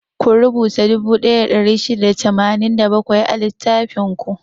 Ku rubuta dubu ɗaya da ɗari shida da tamanin da bakwai a littafin ku!